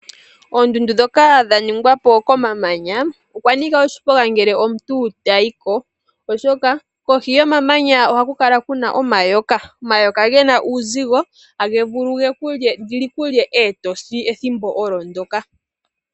Oondundu ndhoka dha ningwa po komamanya okwa nika oshiponga ngele omuntu tayiko, oshoka kohi yomamanya ohaku kala kuna omayoka. Omayoka gena uuzigo tali vulu lyikulye etosi ethimbo ndyoka.